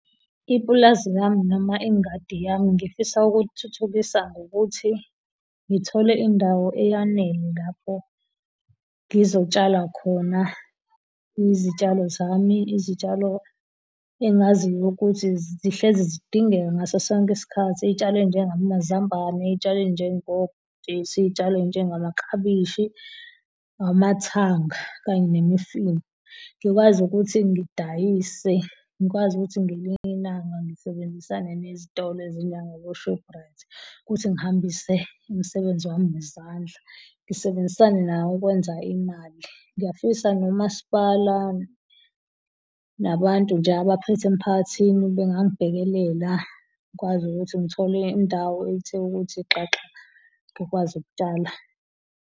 Ipulazi lami noma engadi yami ngifisa ukuthulithukisa ngokuthi ngithole indawo eyanele lapho ngizotshala khona izitshalo zami, izitshalo engaziyo ukuthi zihlezi zidingeka ngaso sonke isikhathi, izitshalo ezinjengamazambane, izitshalo ezinjengobhontshisi izitshalo ezinjengamaklabishi, amathanga kanye nemifino. Ngikwazi ukuthi ngidayise ngikwazi ukuthi ngelinye ilanga ngisebenzisane nezitolo ezinjengabo Shoprite ukuthi ngihambise umsebenzi wami wezandla, ngisebenzisane nabo ukwenza imali. Ngiyafisa nomasipala, nabantu nje abaphethe emphakathini bengangibhekelela ngikwazi ukuthi ngithole indawo ethe ukuthi xaxa ngikwazi ukutshala.